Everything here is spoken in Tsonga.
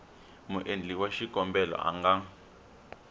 muendli wa xikombelo a nga